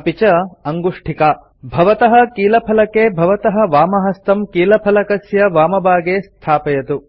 अपि च अङ्गुष्ठिका भवतः कीलफलके भवतः वामहस्तं कीलफलकस्य वामभागे स्थापयतु